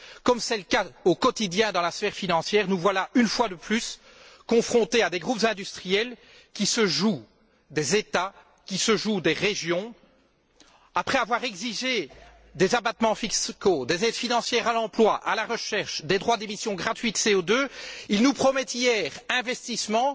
Comme c'est le cas au quotidien dans la sphère financière, nous voilà, une fois de plus, confrontés à des groupes industriels qui se jouent des États, qui se jouent des régions. Après avoir exigé des abattements fiscaux, des aides financières à l'emploi, à la recherche, des droits d'émission gratuits de CO2, ils nous promettaient hier des investissements,